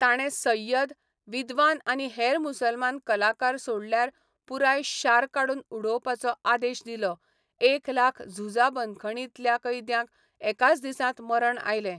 ताणें सय्यद, विद्वान आनी हेर मुसलमान कलाकार सोडल्यार पुराय शार काडून उडोवपाचो आदेश दिलो, एक लाख झुजा बंदखणींतल्या कैद्यांक एकाच दिसांत मरण आयलें.